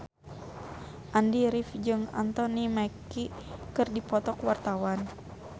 Andy rif jeung Anthony Mackie keur dipoto ku wartawan